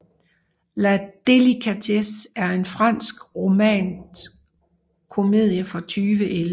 La Délicatesse er en fransk romantisk komedie fra 2011